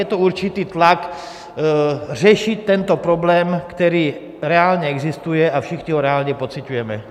Je to určitý tlak řešit tento problém, který reálně existuje a všichni ho reálně pociťujeme.